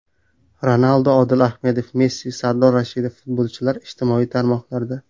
Ronaldu, Odil Ahmedov, Messi, Sardor Rashidov: futbolchilar ijtimoiy tarmoqlarda.